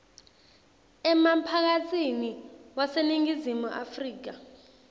emphakatsini waseningizimu afrika